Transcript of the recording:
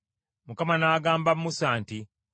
Mukama n’agamba Musa nti,